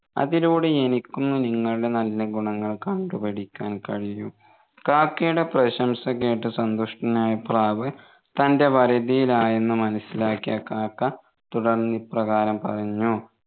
അതിലൂടെ എനിക്കും നിങ്ങളെ നല്ല ഗുണങ്ങൾ കണ്ടുപഠിക്കാൻ കഴിയും കാക്കയുടെ പ്രശംസ കേട്ടു സന്തുഷ്ടനായ പ്രാവ് തൻെറ വരുതിയിലായെന്ന് മനസിലാക്കിയ കാക്ക തുടർന്ന് ഇപ്രകാരം പറഞ്ഞു